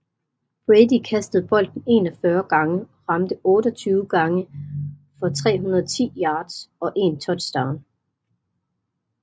Brady kastede bolden 41 gange og ramte 28 gange for 310 yards og 1 touchdown